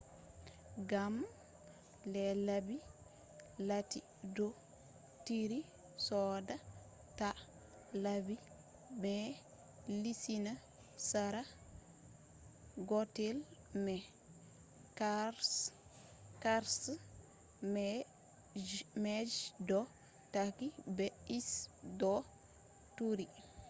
gam les laɓi lati ɗo turi seɗɗa ta laɓi mai lusina sera gotel mai qarshe mai je ɗo takki be ice bo turi